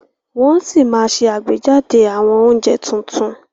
Wọn sì máa ṣe àgbéjáde àwọn oúnjẹ tuntun